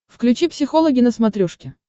включи психологи на смотрешке